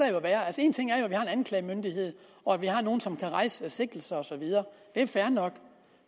anklagemyndighed og at vi har nogle som kan rejse sigtelser og så videre det er fair nok